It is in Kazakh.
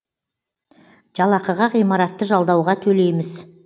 жалақыға ғимаратты жалдауға төлейміз